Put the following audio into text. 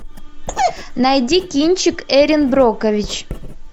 найди кинчик эрин брокович